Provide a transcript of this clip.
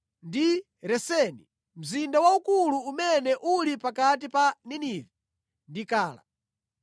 ndi Reseni, mzinda waukulu umene uli pakati pa Ninive ndi Kala.